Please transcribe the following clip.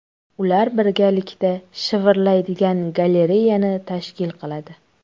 Ular birgalikda shivirlaydigan galereyani tashkil qiladi.